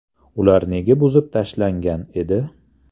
Ular nega buzib tashlangan edi?.